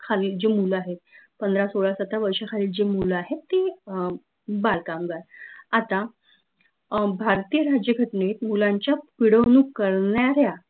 खालील जे मूळ आहेत पंधरा, सोळा, सत्रा वर्षा खालील जे मुलं आहेत ते अं बाल कामगार आता अं भारतीय राज्य घटनेत मुलांच्या पिडवनूक करणाऱ्या